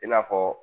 I n'a fɔ